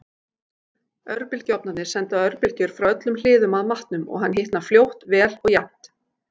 Örbylgjuofnarnir senda örbylgjur frá öllum hliðum að matnum og hann hitnar fljótt, vel og jafnt.